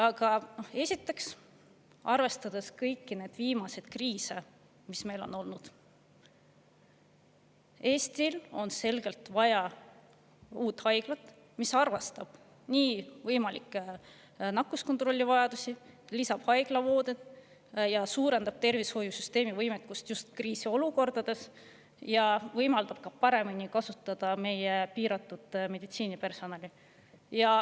Aga esiteks, arvestades kõiki viimaseid kriise, mis meil on olnud, on Eestil selgelt vaja uut haiglat, mis arvestab võimalikku nakkuskontrolli vajadust, haiglavoodeid, suurendab tervishoiusüsteemi võimekust just kriisiolukordades ja võimaldab ka paremini kasutada meie piiratud meditsiinipersonali.